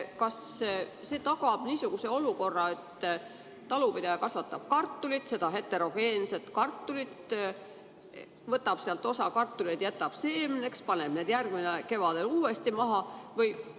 Kas see tagab niisuguse olukorra, et talupidaja kasvatab heterogeenset kartulit, võtab sealt osa kartuleid ja jätab seemneks ning paneb need järgmisel kevadel uuesti maha?